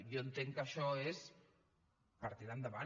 jo entenc que això és per tirar endavant